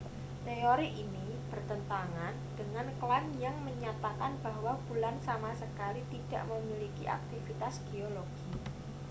teori ini bertentangan dengan klaim yang menyatakan bahwa bulan sama sekali tidak memiliki aktivitas geologi